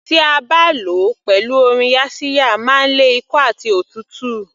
Tí a bá lò ó pẹ̀lú oyin yaxiya máa ń lé ikọ́ àti òtútù